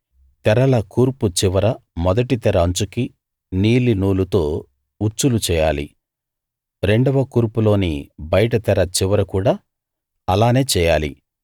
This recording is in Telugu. తెరల కూర్పు చివర మొదటి తెర అంచుకి నీలినూలుతో ఉచ్చులు చేయాలి రెండవ కూర్పులోని బయటి తెర చివర కూడా అలానే చేయాలి